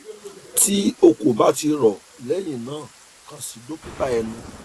ti o ko ba ti rọ lẹhinna kan si dokita ẹnu